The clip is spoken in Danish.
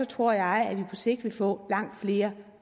tror jeg at vi på sigt vil få langt flere